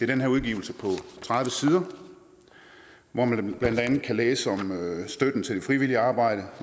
den her udgivelse på tredive sider hvori man blandt andet kan læse om støtten til frivilligt arbejde og